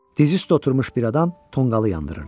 Diz üstə oturmuş bir adam tonqalı yandırırdı.